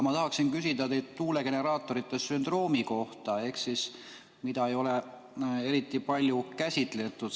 Ma tahan küsida teilt tuulegeneraatorite sündroomi kohta, mida ei ole eriti palju käsitletud.